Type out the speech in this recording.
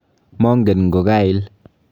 Mongen ngo kail.